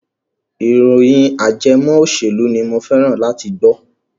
ìròyìn ajẹmọ òṣèlú ni mo fẹ́ràn láti gbọ́.